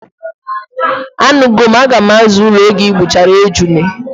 Anugo m, aga m aza ulo oge igbuchara ejune